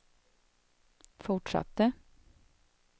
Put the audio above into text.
fortsatte